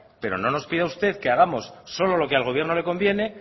pero no nos pida usted que hagamos solo lo que al gobierno le conviene